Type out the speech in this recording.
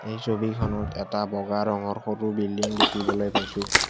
এই ছবিখনত এটা বগা ৰঙৰ সৰু বিল্ডিং দেখিবলৈ পাইছোঁ।